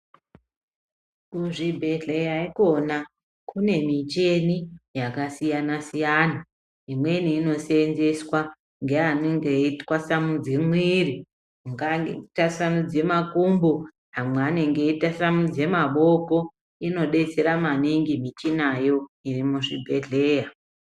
Kuzvibhedhleya ikona kune micheni yakasiyana siyana. Imweni inoseenzeswa ngeanonga eyitwasanmudze mwiiri, mungange kutasanudze makumbo, amwe anenge eyitasanudze makumbo, inodetsera maningi michinayo iri muzvibhedhleya